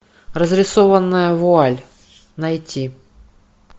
разрисованная вуаль найти